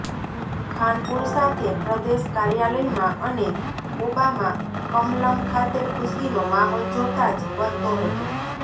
ખાનપુર સાથે પ્રદેશ કાર્યાલયમાં અને કોબામાં કમલમ ખાતે ખુશીનો માહોલ જોતા જ બનતો હતો